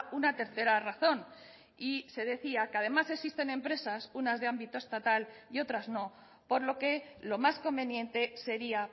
una tercera razón y se decía que además existen empresas unas de ámbito estatal y otras no por lo que lo más conveniente sería